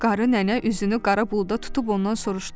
Qarı nənə üzünü qara buluda tutub ondan soruştu: